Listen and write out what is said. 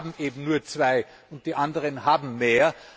Die einen haben eben nur zwei und die anderen haben mehr.